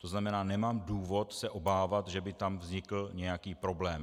To znamená, nemám důvod se obávat, že by tam vznikl nějaký problém.